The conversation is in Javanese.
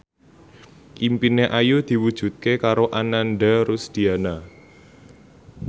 impine Ayu diwujudke karo Ananda Rusdiana